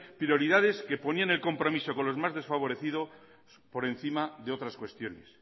prioridades que ponían el compromiso de los más desfavorecidos por encima de otras cuestiones